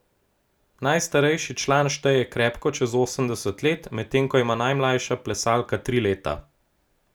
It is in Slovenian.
Najstarejši član šteje krepko čez osemdeset let, medtem ko ima najmlajša plesalka tri leta.